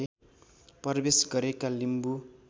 प्रवेश गरेका लिम्बू